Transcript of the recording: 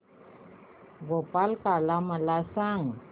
गोपाळकाला मला सांग